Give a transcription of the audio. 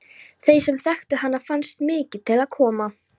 Þeim sem þekktu hana fannst mikið til koma.